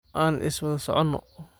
Aan islwadha socono.